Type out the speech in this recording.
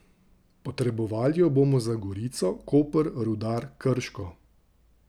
Potrebovali jo bomo za Gorico, Koper, Rudar, Krško.